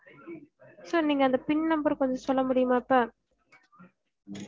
sir நீங்க அந்த pin number அஹ் கொஞ்சம் சொல்ல முடியுமா இப்ப